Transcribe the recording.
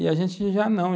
E a gente já não.